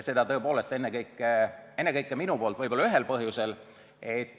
Seda ennekõike minu poolt võib-olla ühel põhjusel.